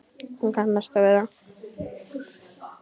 Hún kannast þó við það.